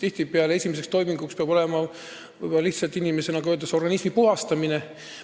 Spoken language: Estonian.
Tihtipeale peab esimeseks toiminguks olema lihtsalt inimese, nagu öeldakse, organismi puhastamine.